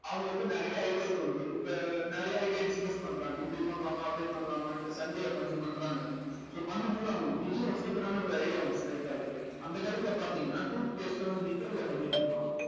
அவங்களுக்கு நிறைய ideas இப்ப நிறைய idea discuss பண்றாங்க இப்படி பண்ணலாமா அப்படி பண்ணலாமான்னுட்டு sunday ல பண்றாங்க so பண்ணும் போது அவங்களுக்கு திடீர்ன்னு ஒரு super ஆன ஒரு idea ஒண்ணு strike ஆகுது அந்த காலத்துல பார்த்தீங்கன்னா toothpaste ல வந்து நிக்கல்ல பண்ணிட்டு இருப்பாங்க